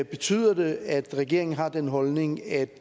betyder det at regeringen har den holdning at